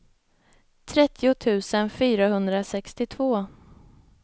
trettio tusen fyrahundrasextiotvå